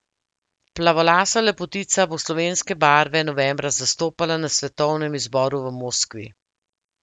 Plavolasa lepotica bo slovenske barve novembra zastopala na svetovnem izboru v Moskvi.